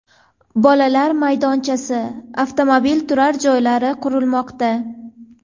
Bolalar maydonchasi, avtomobil turar joylari qurilmoqda.